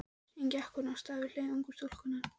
Síðan gekk hún af stað við hlið ungu stúlkunnar.